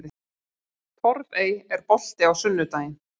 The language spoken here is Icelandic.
Torfey, er bolti á sunnudaginn?